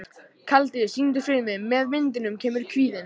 Kaldi, syngdu fyrir mig „Með vindinum kemur kvíðinn“.